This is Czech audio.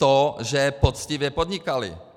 To, že poctivě podnikali.